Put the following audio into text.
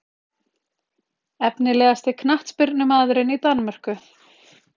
Efnilegasti knattspyrnumaðurinn í Danmörku?